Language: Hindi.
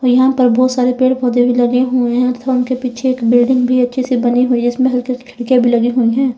यहां पर बहुत सारे पेड़ पौधे भी लगे हुए हैं अथवा उनके पीछे एक बिल्डिंग भी अच्छे से बनी हुई जिसमें खिड़कियां लगी हुई है।